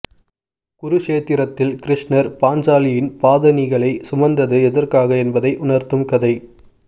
குருக்ஷேத்திரத்தில் கிருஷ்ணர் பாஞ்சாலியின் பாதணிகளைச் சுமந்தது எதற்காக என்பதை உணர்த்தும் கதை